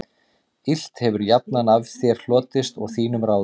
Illt hefir jafnan af þér hlotist og þínum ráðum